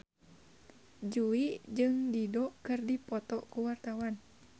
Jui jeung Dido keur dipoto ku wartawan